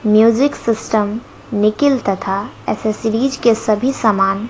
music system nickel तथा accessories के सभी सामान--